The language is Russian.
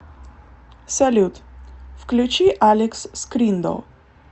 салют включи алекс скриндо